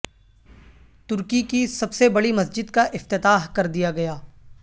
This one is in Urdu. ترکی کی سب سے بڑی مسجد کا افتتاح کردیا گیا